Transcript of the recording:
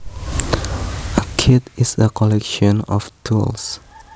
A kit is a collection of tools